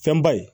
Fɛnba ye